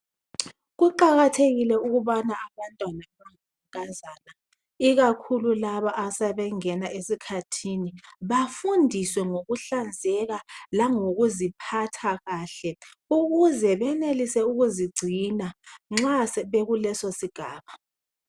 Kuqakathekile ukubana abantwana abangamankazana ikakhulu laba asebengena esikhathini bafundiswe ngokuhlanzeka langokuziphatha kahle ukuze benelise ukuzigcina nxa sebekuleso sigaba.